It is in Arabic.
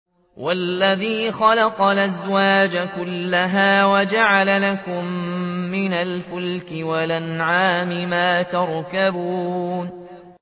وَالَّذِي خَلَقَ الْأَزْوَاجَ كُلَّهَا وَجَعَلَ لَكُم مِّنَ الْفُلْكِ وَالْأَنْعَامِ مَا تَرْكَبُونَ